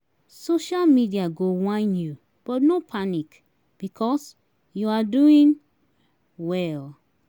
social media go whine yu but no panic bikos yu ar doing wel